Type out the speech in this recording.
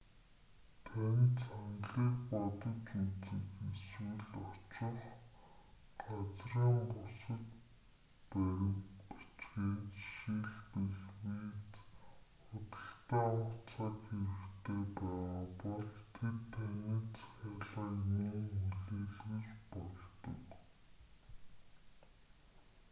танд саналыг бодож үзэх эсвэл очих газрын бусад баримт бичгээ жишээлбэл виз худалдан авах цаг хэрэгтэй байгаа бол тэд таны захиалгыг мөн хүлээлгэж болдог